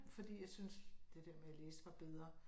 Fordi jeg synes det der med at læse var bedre